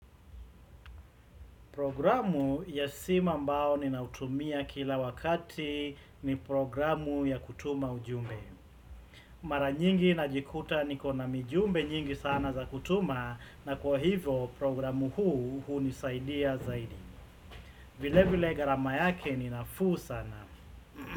Programu ya sima mbao ni nautumia kila wakati ni programu ya kutuma ujumbe. Mara nyingi najikuta niko na mijumbe nyingi sana za kutuma na kwa hivo programu huu huu ni saidia zaidi. Vile vile gharama yake ni nafuu sana.